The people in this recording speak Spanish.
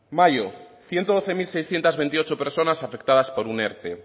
mayo ciento doce mil seiscientos veintiocho personas afectadas por un erte